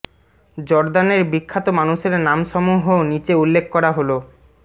জর্দানের বিখ্যাত মানুষের নাম সমূহ নিচে উল্লেখ করা হলোঃ